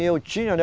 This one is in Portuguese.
E eu tinha, né?